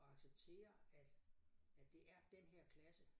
At acceptere at at det er den her klasse